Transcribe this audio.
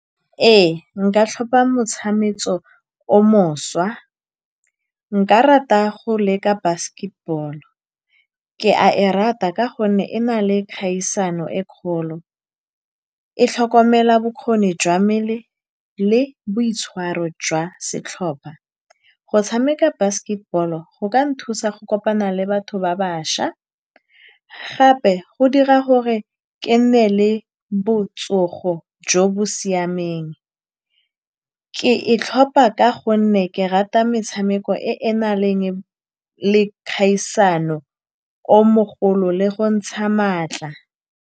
Ee, nka tlhopha motshameko o mošwa. Nka rata go leka basketball-o. Ke a e rata ka gonne e na le kgaisano e e kgolo, e tlhokomela bokgoni jwa mmele le boitshwaro jwa setlhopha. Go tshameka basketball-o go ka nthusa go kopana le batho ba bašwa, gape go dira gore ke nne le botsogo jo bo siameng. Ke e tlhopha ka gonne ke rata metshameko e e nang le kgaisano e kgolo le go ntsha maatla.